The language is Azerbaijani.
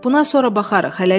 Buna sonra baxarıq,